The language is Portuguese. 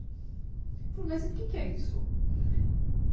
Ele falou, mas o que que é isso?